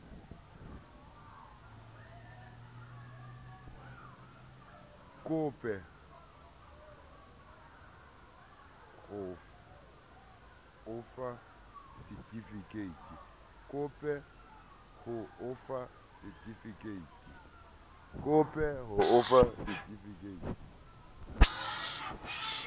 kope ho o fa setifikeiti